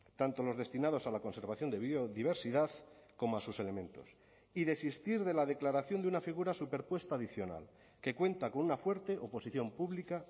tanto los destinados a la conservación de biodiversidad como a sus elementos y desistir de la declaración de una figura superpuesta adicional que cuenta con una fuerte oposición pública